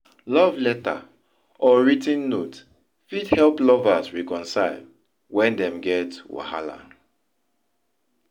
Love letter or writ ten note fit help lovers reconcile when dem get wahala